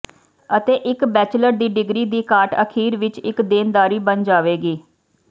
ਅਤੇ ਇਕ ਬੈਚਲਰ ਦੀ ਡਿਗਰੀ ਦੀ ਘਾਟ ਅਖੀਰ ਵਿਚ ਇਕ ਦੇਣਦਾਰੀ ਬਣ ਜਾਵੇਗੀ